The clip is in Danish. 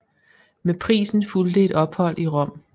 Med prisen fulgte et ophold i Rom